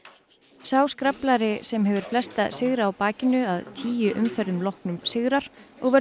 sá sem hefur flesta sigra á bakinu að tíu umferðum loknum sigrar og verður